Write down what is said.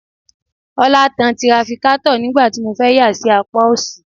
Ọlá tan tirafikátọ̀ nígbà tí mo fẹ́ yà sí apá ọ̀sì